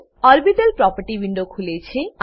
orbital property window ખુલે છે